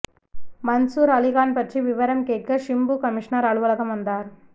மன்சூர் அலிகான் பற்றி விவரம் கேட்க சிம்பு கமிஷனர் அலுவலகம் வந்தார்